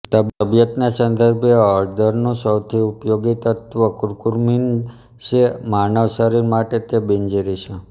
તબિયતના સંદર્ભે હળદરનું સૌથી ઉપયોગિ તત્વ કુર્કુમીન છે અને માનવ શરીર માટે તે બિનઝેરી છે